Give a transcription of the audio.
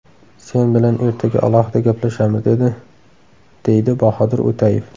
Sen bilan ertaga alohida gaplashamiz’ dedi”, deydi Bahodir O‘tayev.